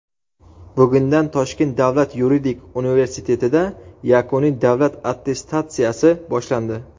Bugundan Toshkent davlat yuridik universitetida yakuniy davlat attestatsiyasi boshlandi.